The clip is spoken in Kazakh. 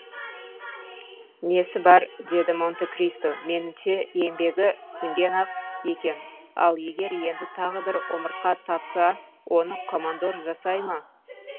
несі бар деді монте кристо меніңше еңбегі сіңген ақ екен ал егер енді тағы бір омыртқа тапса оны командор жасай ма